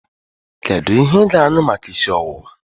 Kedu ihe ị ga-aṅụ maka isi ọwụwa?